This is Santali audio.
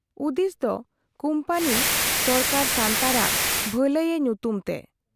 ᱩᱫᱤᱥᱫᱚ ᱠᱩᱢᱯᱟᱹᱱᱤ ᱥᱚᱨᱠᱟᱨ ᱥᱟᱱᱛᱟᱲᱟᱜ ᱵᱦᱟᱹᱞᱟᱹᱭ ᱮ ᱧᱩᱛᱩᱢ ᱛᱮ ᱾